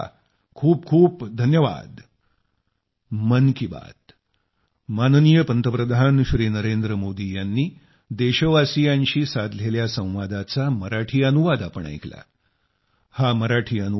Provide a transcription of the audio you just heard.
खूपखूप धन्यवाद